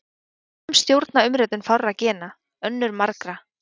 Sum stjórna umritun fárra gena, önnur margra.